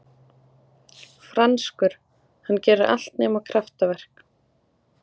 Franskur, hann gerir allt nema kraftaverk.